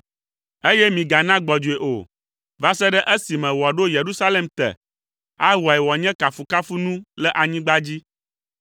eye migana gbɔdzɔe o, va se ɖe esime wòaɖo Yerusalem te, awɔe wòanye kafukafunu le anyigba dzi.